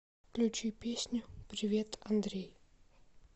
включи песню привет андрей